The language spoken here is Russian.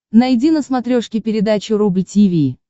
найди на смотрешке передачу рубль ти ви